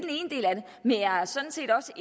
men jeg er sådan set også